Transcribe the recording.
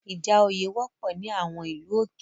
Ìjà òye wọ́pọ̀ ní àwọn ìlú òkè